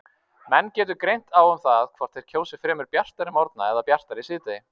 Menn getur greint á um það hvort þeir kjósi fremur bjartari morgna eða bjartara síðdegi.